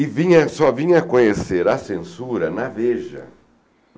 E vinha só vinha a conhecer a censura na Veja.